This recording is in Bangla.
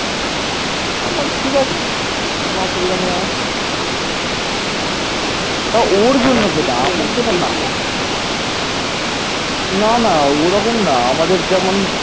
না না ওরকম না, আমাদের যেমন